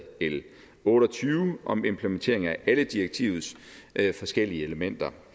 l otte og tyve om implementering af alle direktivets forskellige elementer